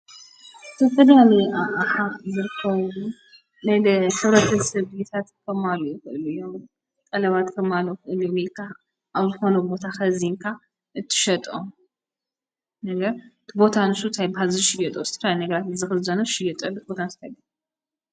ተፈዶ ኣሚኒቃ ኣሓ ብርኮው ናይደ ሰብረትዝሰብታት ኸማሉ በሉ ዮ ቐለባት ተማሉ እልሚልካ ኣብ ዝኾኖ ቦታ ኸዚንካ እትሸጦም ነገር ቦታ ንሱ ት ኣይ ባዝሽየጡ ወስትራ ነግራትን ዝኽዘኖ ሽይጠል ቦታንስተገ